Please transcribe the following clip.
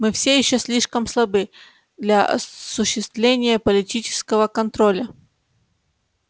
мы все ещё слишком слабы для осуществления политического контроля